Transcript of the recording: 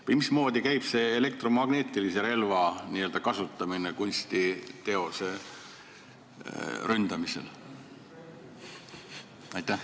Või mismoodi kasutatakse näiteks elektromagnetilist relva kunstiteose ründamisel?